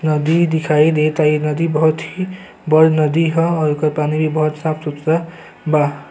नदी दिखाई देता। इ नदी बहुत ही बढ़ नदी ह। एकर पानी बहुत ही साफ सुथरा बा।